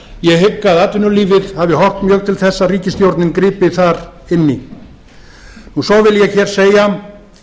ég hygg að atvinnulífið hafi horft mjög til þess að ríkisstjórnin gripi þar inn í svo vil ég hér segja